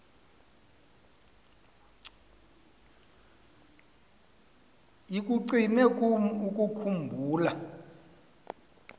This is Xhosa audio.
ikucime kum ukukhumbula